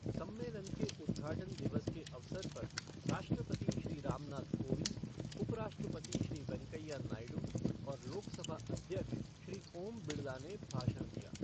सम्मेलन के उद्घाटन दिवस के अवसर पर, राष्ट्रपति श्री रामनाथ कोविंद, उपराष्ट्रपति श्री वेंकैया नायडू और लोकसभा अध्यक्ष श्री ओम बिड़ला ने भाषण दिया।